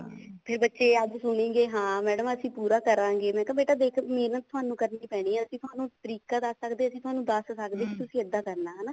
ਤੇ ਬੱਚੇ ਅੱਜ ਸੁਣੀ ਗਏ ਹਾਂ madam ਅਸੀਂ ਪੂਰਾ ਕਰਾਂਗੇ ਮੈਂ ਕਿਹਾ ਬੇਟਾ ਦੇਖ ਮਿਹਨਤ ਤੁਹਾਨੂੰ ਕਰਨੀ ਪੈਣੀ ਹੈ ਅਸੀਂ ਤੁਹਾਨੂੰ ਤਰੀਕਾ ਦੱਸ ਸਕਦੇ ਹਾਂ ਅਸੀਂ ਦੱਸ ਸਕਦੇ ਹਾਂ ਤੁਸੀਂ ਇੱਦਾਂ ਕਰਨਾ ਹਨਾ